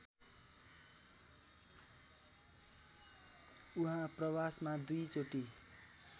उहाँ प्रवासमा दुईचोटि